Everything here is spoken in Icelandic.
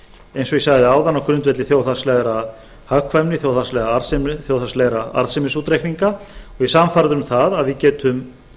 eins og ég sagði áðan á grundvelli þjóðhagslegrar hagkvæmni þjóðhagslegrar arðsemi þjóðhagslegra arðsemisútreikninga og ég er sannfærður um að við getum